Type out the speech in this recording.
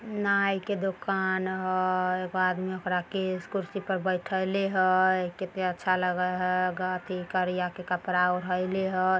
नाई की दुकान हय एगो आदमी ओकरा केस कुर्सी पर बैठएले हय कित्ते अच्छा लगे हय गथी करिया के कपड़ा उड़एले हय।